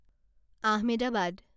Ahmedabad